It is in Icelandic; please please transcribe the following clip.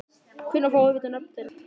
Hvenær fáum við að vita nöfn þeirra?